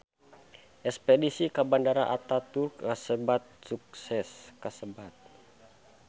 Espedisi ka Bandara Ataturk kasebat sukses